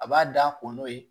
A b'a da kɔn'o ye